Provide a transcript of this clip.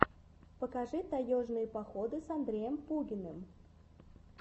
покажи таежные походы с андреем пугиным